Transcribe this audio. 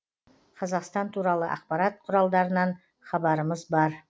қазақстан туралы ақпарат құралдарынан хабарымыз бар